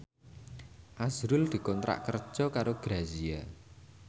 azrul dikontrak kerja karo Grazia